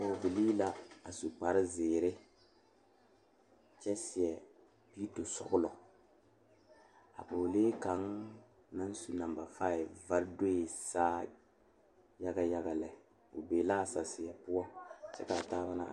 Pɔgebile ane bibiiri la ka bondire a kabɔɔti poɔ ka talaare be a be poɔ kaa kodo vaare meŋ be a be kaa bie kaŋa a iri o be la a saseɛ poɔ kyɛ kaa taaba na are.